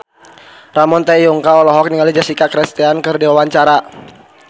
Ramon T. Yungka olohok ningali Jessica Chastain keur diwawancara